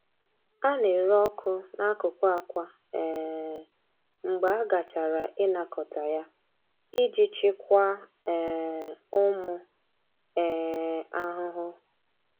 A na-ere ọkụ n’akụkụ akwa um mgbe a gachara ịnakọta ya iji chịkwaa um ụmụ um ahụhụ.